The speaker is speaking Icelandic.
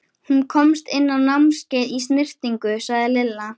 Hún komst inn á námskeið í snyrtingu, sagði Lilla.